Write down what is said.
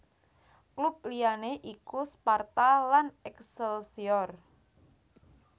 Klub liyané iku Sparta lan Excelsior